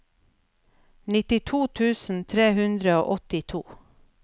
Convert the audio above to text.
nittito tusen tre hundre og åttito